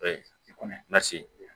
kɔnɔ lase